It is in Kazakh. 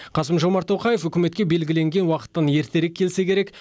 қасым жомарт тоқаев үкіметке белгіленген уақыттан ерте келсе керек